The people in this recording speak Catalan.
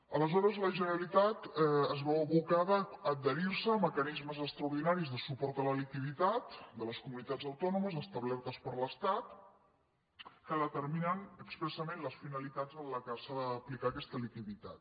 aleshores la generalitat es veu abocada a adherir·se a mecanismes extraordinaris de suport a la liquidi·tat de les comunitats autònomes establertes per l’es·tat que determinen expressament les finalitats a què s’ha d’aplicar aquesta liquiditat